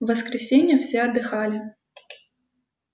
в воскресенье все отдыхали